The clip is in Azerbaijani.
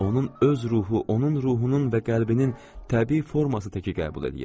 Onun öz ruhu, onun ruhunun və qəlbinin təbii forması təki qəbul eləyir.